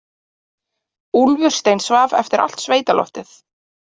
Úlfur steinsvaf eftir allt sveitaloftið.